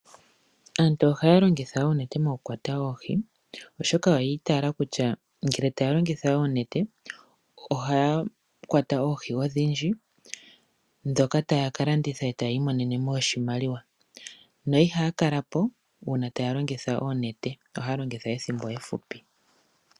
Aantu ohaya longitha oonete mokukwata oohi oshoka oyi itaala kutya ngele taya longitha oonete ohaya kwata oohi odhindji ndhoka taya ka landitha e taya i monene oshimaliwa, yo ihaya kala po uuna taya longitha oonete ohaya longitha ethimbo efupi.